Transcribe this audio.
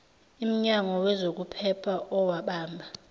imnyango wezokuphepha owabamba